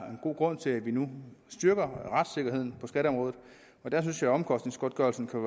god grund til at vi nu styrker retssikkerheden på skatteområdet der synes jeg at omkostningsgodtgørelsen kan